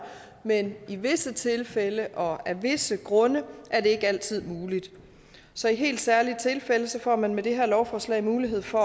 men i visse tilfælde og af visse grunde er det ikke altid muligt så i helt særlige tilfælde får man med det her lovforslag mulighed for